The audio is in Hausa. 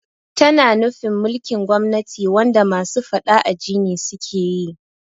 Tana nufin mulkin gwamnati wanda masu faɗa aji ne sukeyi